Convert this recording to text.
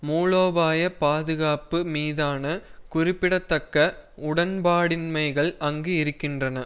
மூலோபாய பாதுகாப்பு மீதான குறிப்பிடத்தக்க உடன்பாடின்மைகள் அங்கு இருக்கின்றன